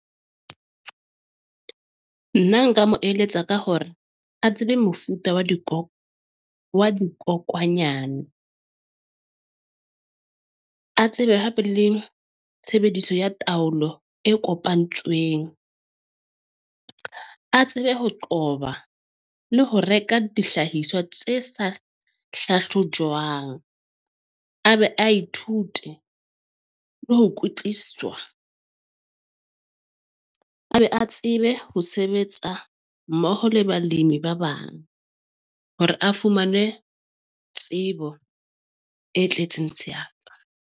Nna nka mo eletsa ka hore a tsebe mofuta wa dikobo wa dikokwanyana . A tsebe hape le tshebediso ya taolo e kopantsweng, a tsebe ho qoba le ho reka dihlahiswa tse sa hlahlojwang. A be a ithute le ho kwetliswa, a be a tsebe ho sebetsa mmoho le balemi ba bang hore a fumane tsebo e tletseng .